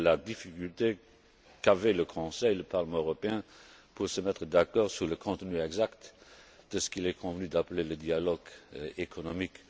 Je sais la difficulté qu'avaient le Conseil et le Parlement européen à se mettre d'accord sur le contenu exact de ce qu'il est convenu d'appeler le dialogue économique.